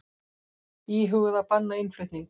Íhuguðu að banna innflutning